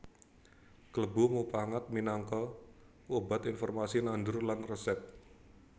Klebu mupangat minangka obat informasi nandur lan resèp